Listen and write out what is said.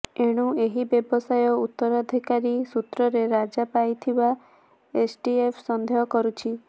ଏଣୁ ଏହି ବ୍ୟବସାୟ ଉତ୍ତରାଧିକାରୀ ସୂତ୍ରରେ ରାଜା ପାଇଥିବା ଏସ୍ଟିଏଫ୍ ସନ୍ଦେହ କରୁଛି